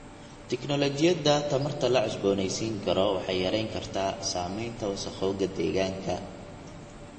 Tignoolajiyada tamarta la cusboonaysiin karo waxay yarayn kartaa saamaynta wasakhowga deegaanka.